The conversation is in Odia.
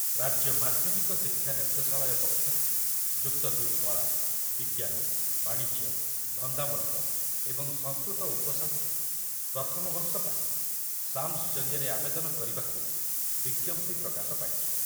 ରାଜ୍ୟ ମାଧ୍ୟମିକ ଶିକ୍ଷା ନିର୍ଦ୍ଦେଶାଳୟ ପକ୍ଷରୁ ଯୁକ୍ତ ଦୁଇ କଳା, ବିଜ୍ଞାନ, ବାଣିଜ୍ୟ, ଧନ୍ଦାମୂଳକ ଏବଂ ସଂସ୍କୃତ ଉପଶାସ୍ତ୍ରୀ ପ୍ରଥମ ବର୍ଷ ପାଇଁ ସାମ୍ସ ଜରିଆରେ ଆବେଦନ କରିବାକୁ ବିଜ୍ଞପ୍ତି ପ୍ରକାଶ ପାଇଛି।